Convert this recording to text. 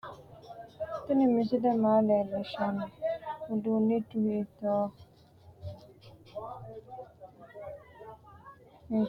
tinni misie maa lelishanno? udunnichu hittohu noote ?sinna mayi anna noo? imasuntonniri maati ?meu danniho? borro mayitanno? hitto qalamenni xanfoyite? ulamaa kaare he'nonni? badenni marichi lelanno? midaadonni marichi noo?